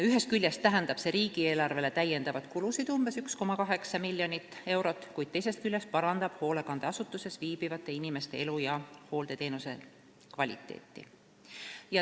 Ühest küljest tähendab see riigieelarvele lisakulusid umbes 1,8 miljonit eurot, kuid teisest küljest parandab hoolekandeasutuses viibivate inimeste elu ja hooldeteenuse kvaliteeti.